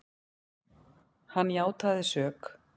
Hann játaði sök.